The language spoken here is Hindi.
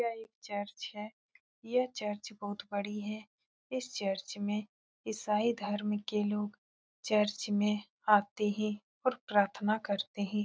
यह एक चर्च है यह चर्च बहुत बड़ी है इस चर्च में इसाईं धर्म के लोग चर्च में आते है और प्रार्थना करते है।